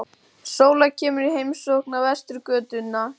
Sóla kemur í heimsókn á Vesturgötuna.